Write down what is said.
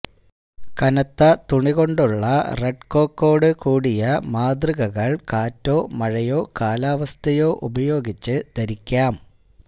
കനത്ത തുണികൊണ്ടുള്ള റെഡ്കോക്കോടുകൂടിയ മാതൃകകൾ കാറ്റോ മഴയോ കാലാവസ്ഥയോ ഉപയോഗിച്ച് ധരിക്കാം